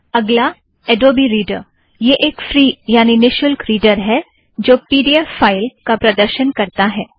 अगला Adobe reader यह एक फ़्री यानि निशुल्क रीड़र है जो पी ड़ी एफ़ फ़ाइल का प्रदर्शन करता है